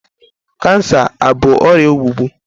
Kansa abụ ọrịa ogbugbu?